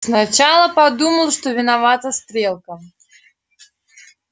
сначала подумал что виновата стрелка